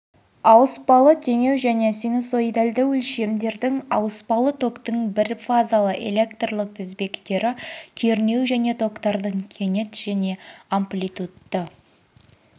ауыспалы теңеу және синусоидальді өлшемдердің ауыспалы токтың бірфазалы электрлік тізбектері кернеу және токтардың кенет және амплитудты